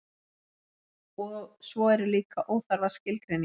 svo eru líka óþarfar skilgreiningar